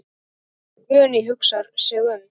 Guðný hugsar sig um.